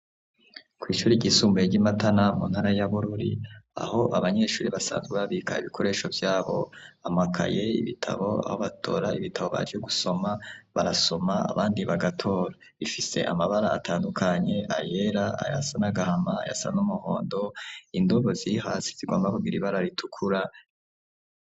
Kw'ishure ryisumbuye ry'i Matana mu ntara ya Bururi, aho abanyeshuri basanzwe babika ibikoresho vyobo, amakaye, ibitabo, aho batora ibitabo baje gusoma, barasoma, abandi bagatora, rifise amabara atandukanye, ayera, ayasa n'agahama, ayasa n'umuhondo, indobo ziri hasi zigomba kugira ibara ritukura.